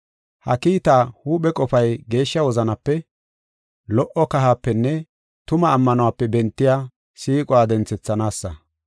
Ha kiitaa huuphe qofay geeshsha wozanape, lo77o kahapenne tuma ammanuwape bentiya siiquwa denthethanaasa.